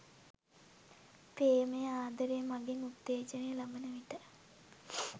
ප්‍රේමය, ආදරය මඟින් උත්තේජනය ලබන විට